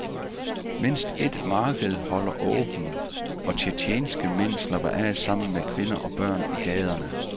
Mindst et marked holder åbent, og tjetjenske mænd slapper af sammen med kvinder og børn i gaderne.